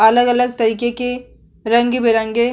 अलग-अलग तरीके के रंग-बिरंगे --